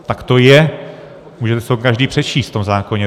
Tak to je, můžete si to každý přečíst v tom zákoně.